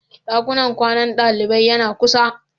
Dakunan kwanan dalibai yana kusa.